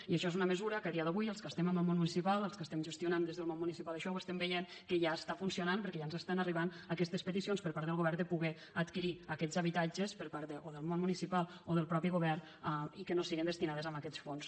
i això és una mesura que a dia d’avui els que estem en el món municipal els que gestionem des del món municipal això veiem que ja funciona perquè ja ens arriben aquestes peticions per part del govern de poder adquirir aquests habitatges per part o del món municipal o del mateix govern i que no siguen destinats a aquests fons